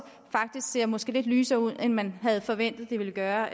måske ser lidt lysere ud end man havde forventet det ville gøre